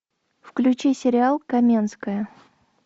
включи сериал каменская